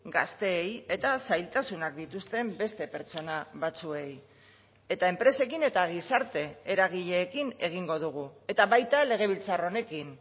gazteei eta zailtasunak dituzten beste pertsona batzuei eta enpresekin eta gizarte eragileekin egingo dugu eta baita legebiltzar honekin